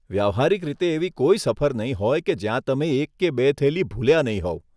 વ્યવહારીક રીતે એવી કોઈ સફર નહીં હોય કે જ્યાં તમે એક કે બે થેલી ભૂલ્યા નહીં હોવ.